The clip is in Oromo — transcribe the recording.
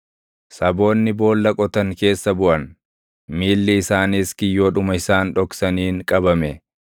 Saboonni boolla qotan keessa buʼan; miilli isaaniis kiyyoodhuma isaan dhoksaniin qabame.